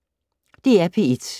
DR P1